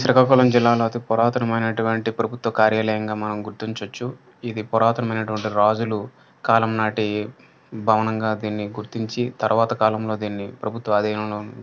శ్రీకాకుళం జిల్లాలో అతి పురాతనమైన ప్రభుత్వ కార్యాలయం గా మనం గుర్తించవచ్చు. ఇది పురాతనటువంటి రాజులు కాలం నాటి భవనంగా దీన్ని గుర్తించి తర్వాత కాలంలో దిన్ని ప్రభుత్వ ఆధీనంలో--